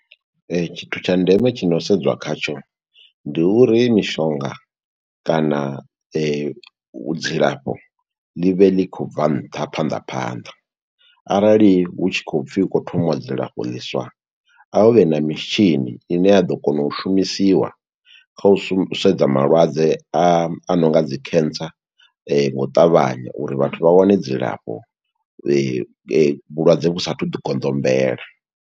Tshithu tsha ndeme tshi no sedzwa khatsho, ndi uri mishonga kana dzi lafho ḽi vhe ḽi khou bva nṱha, phanḓa phanḓa. Arali hu tshi khoy pfi hu khou thomiwa dzi lafho ḽiswa, a hu vhe na mitshini ine ya ḓo kona u shumisiwa, kha u sedza malwadze a no nga dzi cancer nga u ṱavhanya, uri vhathu vha wane dzi lafho, vhulwadze vhu sathu ḓi goḓombela.